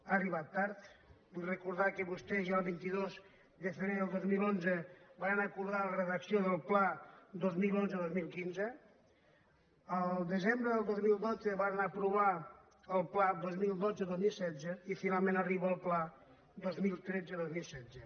ha arribat tard vull recordar que vostès ja el vint dos de febrer del dos mil onze varen acordar la redacció del pla dos mil onze·dos mil quinze el desembre del dos mil dotze va·ren aprovar el pla dos mil dotze·dos mil setze i finalment arriba el pla dos mil tretze·dos mil setze